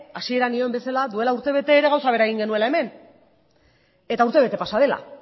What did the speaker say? hasieran nion bezala duela urtebete ere gauza bera egin genuela hemen eta urtebete pasa dela